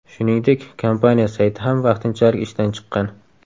Shuningdek, kompaniya sayti ham vaqtinchalik ishdan chiqqan.